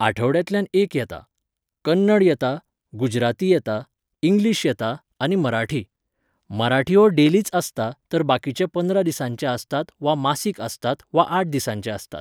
आठवड्यांतल्यान एक येता. कन्नड येता, गुजराती येता, इंग्लिश येता आनी मराठी. मराठी हो डेलीच आसता तर बाकिचे पंदरा दिसांचे आसतात वा मासीक आसतात वाआठ दिसांचे आसतात